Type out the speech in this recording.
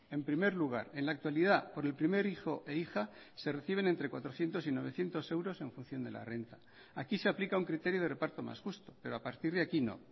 en primer lugar en la actualidad por el primer hijo e hija se reciben entre cuatrocientos y novecientos euros en función de la renta aquí se aplica un criterio de reparto más justo pero a partir de aquí no